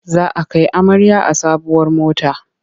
Za a kai amarya a sabuwar mota.